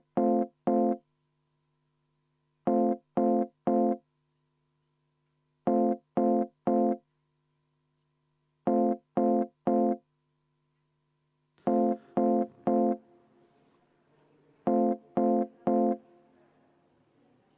Selge, siis on kümme minutit vaheaega, aga lihtsalt märkuse korras, et piisab sellest, kui öelda, et me soovime hääletamist.